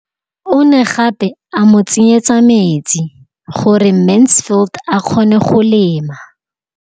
O ne gape a mo tsenyetsa metsi gore Mansfield a kgone go lema.